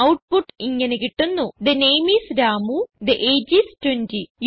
output ഇങ്ങനെ കിട്ടുന്നു the name is Ramu the age is 20